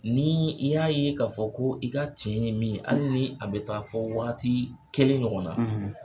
Ni i y'a ye k'a fɔ ko i ka tiɲɛ ye min ye hali ni a bɛ taa fɔ wagati kelen ɲɔgɔnna,